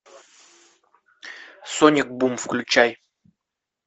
сонник бум включай